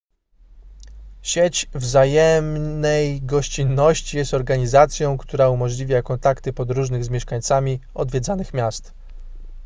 sieć wzajemnej gościnności jest organizacją która umożliwia kontakty podróżnych z mieszkańcami odwiedzanych miast